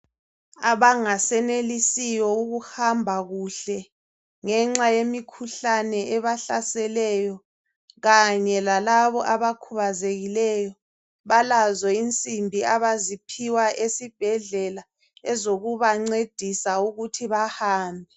Abangasenelisiyo ukuhamba kuhle ngenxa yemikhuhlane ebahlaseleyo kanye lalabo abkhubazekileyo balazo insimbi abaziphiwa esibhedlela ezokubancedisa ukuthi bahambe.